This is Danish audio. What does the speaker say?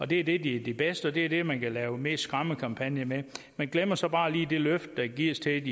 det er det de bedst og det er det man kan lave mest skræmmekampagne med man glemmer så bare lige det løfte der gives til